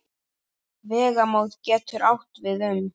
Vegamót getur átt við um